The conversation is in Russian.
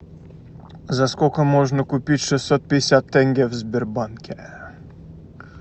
за сколько можно купить шестьсот пятьдесят тенге в сбербанке